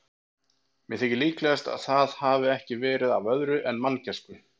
Mér þykir líklegast, að það hafi ekki verið af öðru en manngæsku.